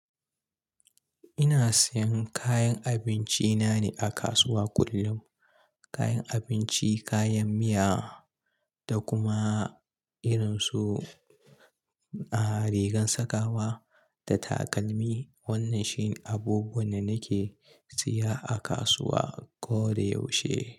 Ina sayan kayan abinci na ne a kasuwa kullun. Kayan abinci, kayan miya da kuma irin su ah rigan sakawa da takalmi. Wannan shi abubuwan da nake siya a kasuwa ko da yaushe.